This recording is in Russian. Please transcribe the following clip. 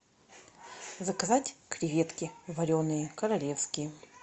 заказать креветки вареные королевские